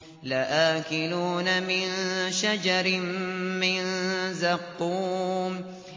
لَآكِلُونَ مِن شَجَرٍ مِّن زَقُّومٍ